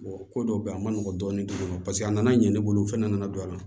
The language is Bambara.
ko dɔw bɛ yen a ma nɔgɔn dɔɔnin paseke a nana ɲɛ ne bolo u fana nana don a la